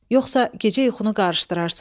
Yoxsa gecə yuxunu qarışdırarsan.